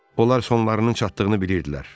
Onlar sonlarının çatdığını bilirdilər.